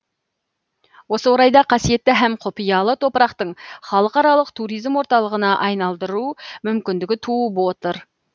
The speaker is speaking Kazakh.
осы орайда қасиетті һәм құпиялы топырақтың халықаралық туризм орталығына айналдыру мүмкіндігі туып отыр